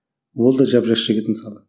ол да жап жас жігіт мысалы